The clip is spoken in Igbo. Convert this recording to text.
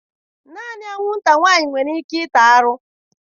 Naanị anwụnta nwanyị nwere ike ịta arụ.